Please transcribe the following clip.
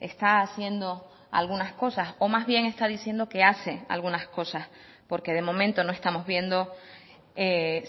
está haciendo algunas cosas o más bien está diciendo que hace algunas cosas porque de momento no estamos viendo